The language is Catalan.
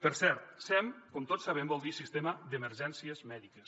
per cert sem com tots sabem vol dir sistema d’emergències mèdiques